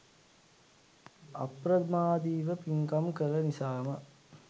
අප්‍රමාදීව පින්කම් කළ නිසාම